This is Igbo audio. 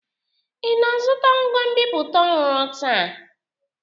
Ị na-azụta ngwa nbipute ọhụrụ taa?